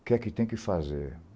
O que é que tem que fazer?